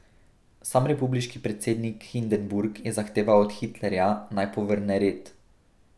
Sam republiški predsednik Hindenburg je zahteval od Hitlerja, naj povrne red.